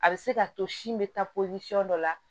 A bɛ se k'a to sin bɛ taa dɔ la